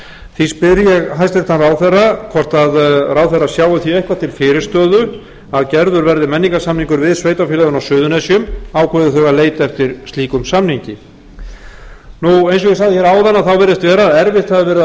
því spyr ég hæstvirtan ráðherra hvort ráðherra sjái því eitthvað til fyrirstöðu að gerður verði menningarsamningur við sveitarfélögin á suðurnesjum ákveði þau að leita eftir slíkum samningi eins og ég sagði hér áðan þá virðist vera að erfitt hafi verið að fá